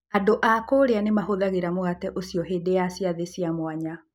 Andũ a Kuria nĩ mahũthagĩra mũgate ũcio hĩndĩ ya ciathĩ cia mwanya.